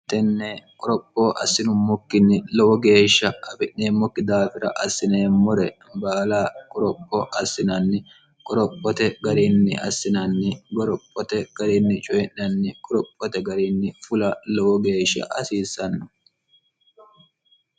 tenne qorophoo assinummokkinni lowo geeshsha abi'neemmokki daafira assineemmore baala qorophoo assinanni qorophote garinni assinanni gorophote gariinni coyi'nanni qorophote gariinni fula lowo geeshsha hasiissanno